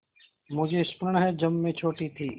मुझे स्मरण है जब मैं छोटी थी